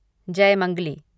Jaymangali